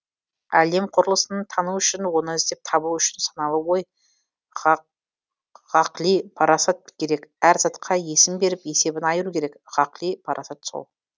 әлем құрылысын тану үшін оны іздеп табу үшін саналы ой ғақли парасат керек әр затқа есім беріп есебін айыру керек ғақли парасат сол